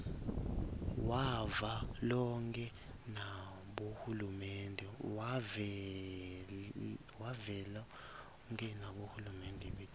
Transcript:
wavelonkhe nabohulumende betifundza